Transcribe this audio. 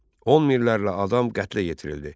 On minlərlə adam qətlə yetirildi.